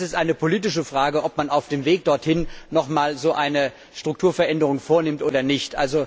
Dann ist es eine politische Frage, ob man auf dem Weg dorthin noch mal so eine Strukturveränderung vornimmt oder nicht.